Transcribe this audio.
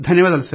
ధన్యవాదాలు